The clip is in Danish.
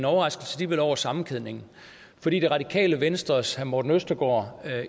overraskelse over sammenkædningen fordi det radikale venstres herre morten østergaard